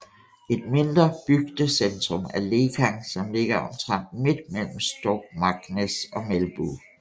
Et mindre bygdecentrum er Lekang som ligger omtrent midt mellem Stokmarknes og Melbu